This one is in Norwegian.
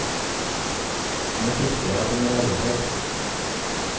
Nå frykter jeg at han er arrestert.